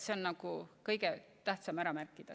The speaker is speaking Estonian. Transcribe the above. See on kõige tähtsam praegu ära märkida.